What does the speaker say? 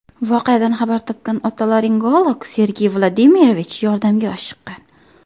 Voqeadan xabar topgan otolaringolog Sergey Vladimirovich yordamga oshiqqan.